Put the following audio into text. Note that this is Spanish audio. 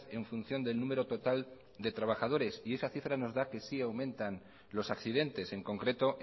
en función del número total de trabajadores y esa cifra nos da que sí aumentan los accidentes en concreto